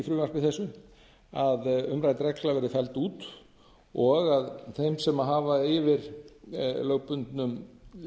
frumvarpi þessu að umrædd regla verði felld út og að þeim sem hafa yfir lögbundnum